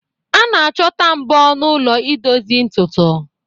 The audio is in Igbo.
A na-achọta mbọ n'ụlọ ị dozie ntutu